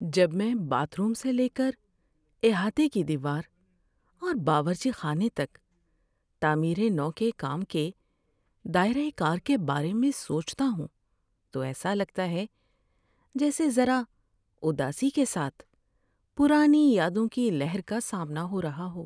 ‏جب میں bathroom سے لے کر احاطے کی دیوار اور باورچی خانے تک تعمیر نو کے کام کے دائرہ کار کے بارے میں سوچتا ہوں تو ایسا لگتا ہے جیسے ذرا اداسی کے ساتھ پرانی یادوں کی لہر کا سامنا ہو رہا ہو۔